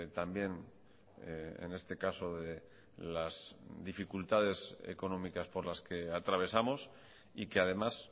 también en este caso de las dificultades económicas por las que atravesamos y que además